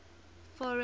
foreign